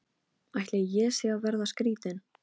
Ætli ég sé að verða skrýtin.